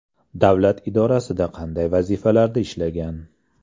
Davlat idorasida qanday vazifalarda ishlagan?